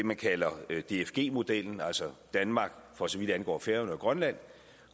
man kalder dfg modellen altså danmark for så vidt angår færøerne og grønland